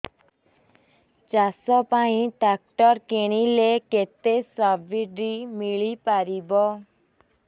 ଚାଷ ପାଇଁ ଟ୍ରାକ୍ଟର କିଣିଲେ କେତେ ସବ୍ସିଡି ମିଳିପାରିବ